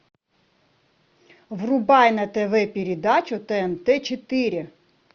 врубай на тв передачу тнт четыре